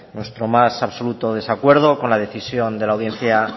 nuestro más absoluto desacuerdo con la decisión de la audiencia